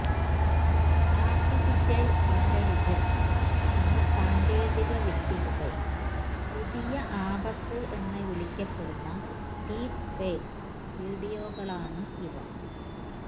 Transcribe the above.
artificial intelligence എന്ന സാങ്കേതിക വിദ്യയുടെ പുതിയ ആപത്ത് എന്ന് വിളിക്കപ്പെടുന്ന ഡീപ്പ് ഫേക്ക് വീഡിയോകളാണ് ഇവ